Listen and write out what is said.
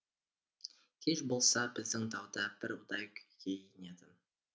кеш болса біздің тау да бір ұдай күйге енетін